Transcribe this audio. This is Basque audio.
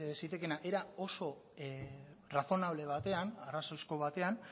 zitekeena era oso razonable batean arrazoizko batean